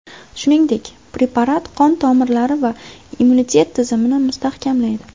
Shuningdek, preparat qon tomirlari va immunitet tizimini mustahkamlaydi.